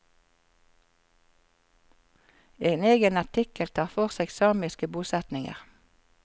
En egen artikkel tar for seg samiske bosetninger.